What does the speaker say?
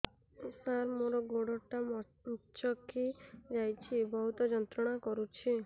ସାର ମୋର ଗୋଡ ଟା ମଛକି ଯାଇଛି ବହୁତ ଯନ୍ତ୍ରଣା କରୁଛି